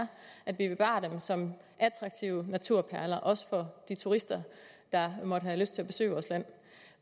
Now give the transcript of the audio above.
at vi bevarer dem som attraktive naturperler også for de turister der måtte have lyst til at besøge vores land